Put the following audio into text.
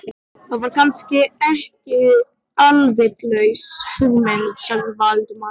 Það er kannski ekki alvitlaus hugmynd sagði Valdimar varlega.